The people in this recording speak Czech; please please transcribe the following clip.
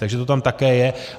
Takže to tam také je.